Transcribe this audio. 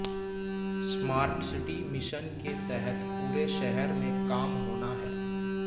smart city mission के तहत पूरे शहर में काम होना है